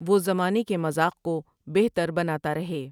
وہ زمانے کے مذاق کو بہتر بناتا رہے ۔